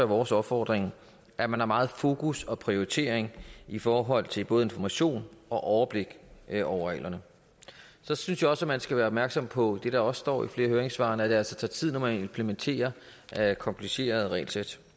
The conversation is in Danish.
vores opfordring at man har meget fokus og høj prioritering i forhold til både information og overblik over reglerne så synes jeg også at man skal være opmærksom på det der også står i flere af høringssvarene nemlig at det altså tager tid når man implementerer komplicerede regelsæt